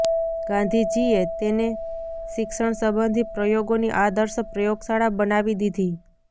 ગાંધીજીએ તેને શિક્ષણ સંબંધી પ્રયોગોની આદર્શ પ્રયોગશાળા બનાવી દીધી